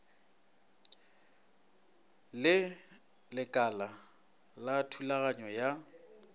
le lekala la thulaganyo ya